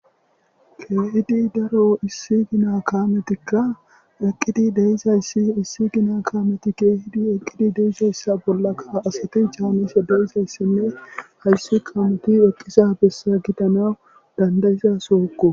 Kehidi daro issi gina kameti eqizi deizays woy ha eqidi diza kameza bollaka asati canishe dizaysne hays kamez eqanawu da'anidaiza sohoko